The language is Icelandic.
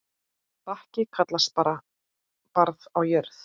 Bakki kallast barð á jörð.